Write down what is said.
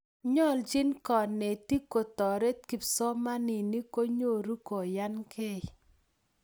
nyolchin konetik kutoret kipsomaninik konyoru kunyankei